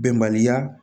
Bɛnbaliya